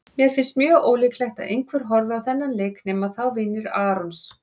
Mér finnst mjög ólíklegt að einhver horfi á þennan leik nema þá vinir Arons.